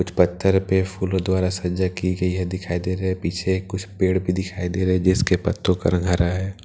पत्थर पे फूलों द्वारा सजा की गई है दिखाई दे रहे हैं पीछे कुछ पेड़ भी दिखाई दे रहे जिसके पत्तों का रंग हरा है।